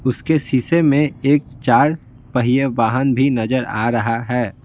उसके शीशे में एक चार पहिए वाहन भी नजर आ रहा है।